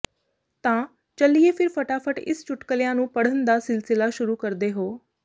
ਤਾਂ ਚੱਲਿਏ ਫਿਰ ਫਟਾਫਟ ਇਸ ਚੁਟਕਲੀਆਂ ਨੂੰ ਪੜ੍ਹਾਂੇ ਦਾ ਸਿਲਸਿਲਾ ਸ਼ੁਰੂ ਕਰਦੇ ਹੋ